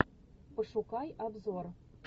пошукай обзор